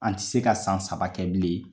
An ti se ka san saba kɛ bilen .